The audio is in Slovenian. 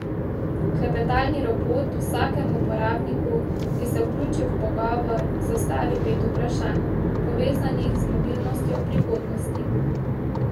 Klepetalni robot vsakemu uporabniku, ki se vključi v pogovor, zastavi pet vprašanj, povezanih z mobilnostjo v prihodnosti.